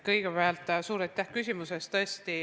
Kõigepealt suur aitäh küsimuse eest!